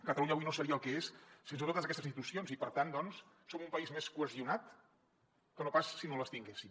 catalunya avui no seria el que és sense totes aquestes institucions i per tant doncs som un país més cohesionat que no pas si no les tinguéssim